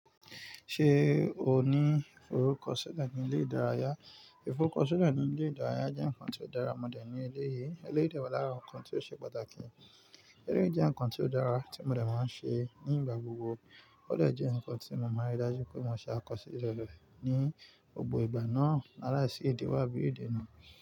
Ṣé o ní ìfọrúkọ ṣile ní ilé ìdárayá? Ìfọrúkọ ṣile ní ilé ìdárayá jẹ́ nǹkan tí ó dára, mo dà ẹ́ ní eleyìí e wa lara awon ǹkan tí ó ṣe pàtàkì. Eléyìí jẹ́ nǹkan tí ó dára tí mo de máa ń ṣe ní ìgbà gbogbo. Ó de jẹ́ nǹkan tí mo máa rí dájú pé mo ṣe ákosíle re ní gbogbo ìgbà náà láilaisi ìdíwo abí ìdena.